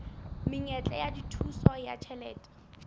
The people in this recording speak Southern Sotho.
menyetla ya thuso ya ditjhelete